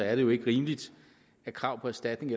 er det jo ikke rimeligt at krav på erstatning